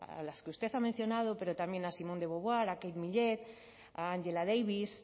a las que usted ha mencionado pero también a simone de beauvoir kate millet a angela davis